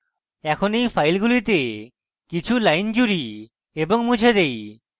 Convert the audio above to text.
এখন এই ফাইলগুলিতে কিছু lines জুড়ি এবং মুছে দেই